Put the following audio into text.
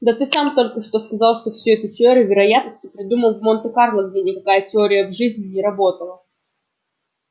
да ты сам только что сказал что всю эту теорию вероятности придумали в монте-карло где никакая теория в жизни не работала